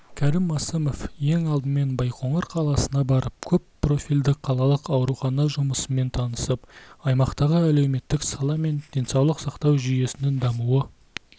кәрім мәсімов ең алдымен байқоңыр қаласына барып көп профильді қалалық аурухана жұмысымен танысып аймақтағы әлеуметтік сала мен денсаулық сақтау жүйесінің дамуы